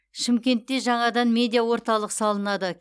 шымкентте жаңадан медиа орталық салынады